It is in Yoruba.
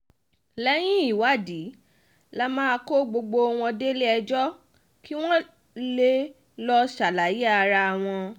lẹ́yìn ìwádìí la máa kó gbogbo wọn délé-ẹjọ́ kí wọ́n lè lọ́ọ́ ṣàlàyé ara wọn